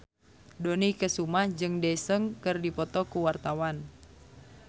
Dony Kesuma jeung Daesung keur dipoto ku wartawan